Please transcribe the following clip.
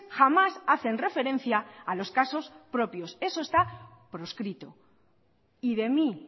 jamás hacen referencia a los casos propios eso está proscrito y de mí